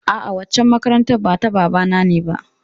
A'a, waccan makarantar ba ta babana ne ba.